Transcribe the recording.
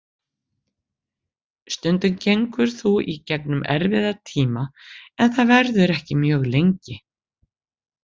Stundum gengur þú í gegnum erfiða tíma en það verður ekki mjög lengi.